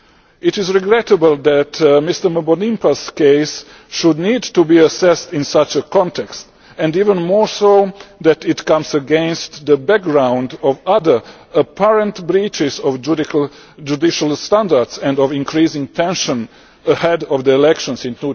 It is regrettable that Mr Mbonimpa's case should need to be assessed in such a context and even more so that it comes against a background of other apparent breaches of judicial standards and of increasing tension ahead of the elections in